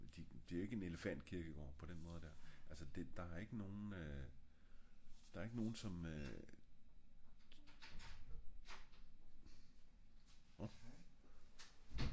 det er jo ikke en elefant kirkegård på den måde der der er ik nogle øh